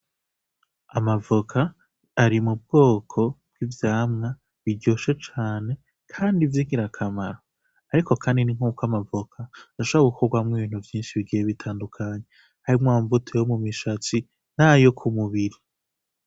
Amavoka ari mu bwoko bw'ivyamwa biryoshe cane, kandi ivyo ikira akamaro, ariko kanini nk'uko amavoka ndashawe kukorwamwo ibintu vyinshi bigiye bitandukanye harimwo amuvuto yo mu mishatsi na yo ku mubiri.